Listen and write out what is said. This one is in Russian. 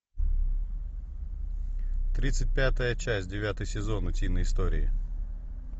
тридцать пятая часть девятый сезон утиные истории